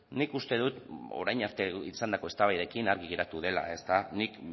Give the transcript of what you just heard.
nik uste dut orain arte izandako eztabaidekin argi geratu dela ezta nik